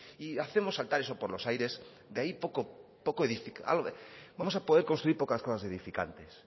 y hacemos saltar eso por lo aires de ahí vamos a poder construir pocas cosas edificantes